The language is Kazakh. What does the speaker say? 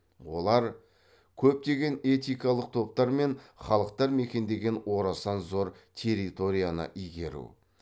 олар көптеген этикалық топтар мен халықтар мекендеген орасан зор территорияны игеру